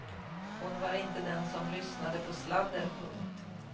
Hon var inte den som lyssnade på sladder. punkt